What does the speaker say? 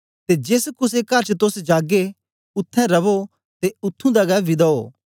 ते जेस कुसे कर च तोस जागे उत्थें रवो ते उत्त्थुं दा गै विदा ओ